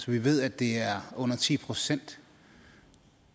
vi ved at det er under ti procent